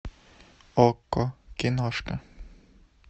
окко киношка